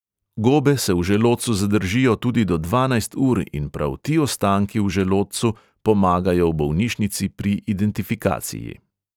Gobe se v želodcu zadržijo tudi do dvanajst ur in prav ti ostanki v želodcu pomagajo v bolnišnici pri identifikaciji.